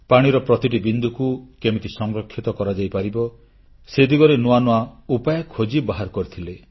ପାଣିର ପ୍ରତିଟି ବିନ୍ଦୁକୁ କେମିତି ସଂରକ୍ଷିତ କରାଯାଇପାରିବ ସେ ଦିଗରେ ନୂଆ ନୂଆ ଉପାୟ ଖୋଜି ବାହାର କରିଥିଲେ